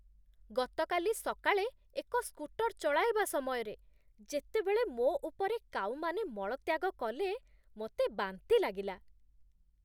ଗତକାଲି ସକାଳେ ଏକ ସ୍କୁଟର୍ ଚଳାଇବା ସମୟରେ ଯେତେବେଳେ ମୋ ଉପରେ କାଉମାନେ ମଳତ୍ୟାଗ କଲେ, ମୋତେ ବାନ୍ତି ଲାଗିଲା।